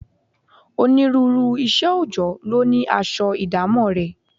Onírúurú iṣẹ́ oòjọ́ ló ní aṣọ ìdámọ̀ rẹ̀